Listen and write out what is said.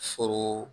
Foro